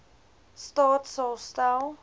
staat sal stel